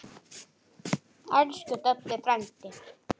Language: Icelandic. Elsku Doddi frændi.